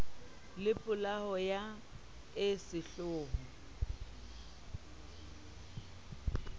le polao eo e sehloho